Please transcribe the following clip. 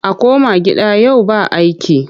A koma gida yau ba aiki!